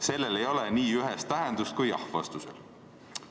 Sellel ei ole nii ühest tähendust, kui „jah“ vastusel.